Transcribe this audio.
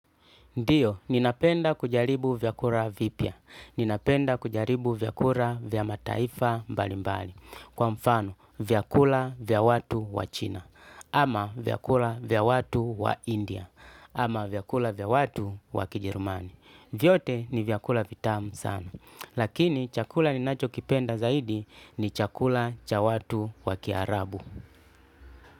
Ndiyo, ninapenda kujaribu vyakura vipya. Ninapenda kujaribu vyakura vya mataifa mbali mbali. Kwa mfano, vyakula vya watu wa China. Ama vyakula vya watu wa India. Ama vyakula vya watu wa Kijerumani Vyote ni vyakula vitam sana. Lakini, chakula ninachokipenda zaidi ni chakula cha watu wa Kiarabu.